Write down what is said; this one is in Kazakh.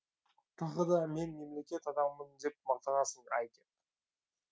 тағы да мен мемлекет адамымын деп мақтанасың ай кеп